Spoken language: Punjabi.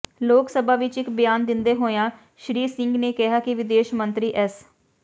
ਲੋਕ ਸਭਾ ਵਿੱਚ ਇੱਕ ਬਿਆਨ ਦਿੰਦੇ ਹੋਇਆਂ ਸ਼੍ਰੀ ਸਿੰਘ ਨੇ ਕਿਹਾ ਕਿ ਵਿਦੇਸ਼ ਮੰਤਰੀ ਐੱਸ